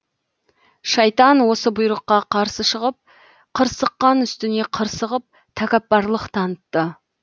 шайтан осы бұйрыққа қарсы шығып қырсыққан үстіне қырсығып тәкаппарлық танытты